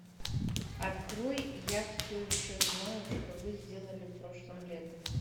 открой я все еще знаю что вы сделали прошлым летом